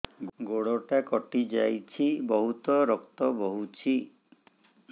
ଗୋଡ଼ଟା କଟି ଯାଇଛି ବହୁତ ରକ୍ତ ବହୁଛି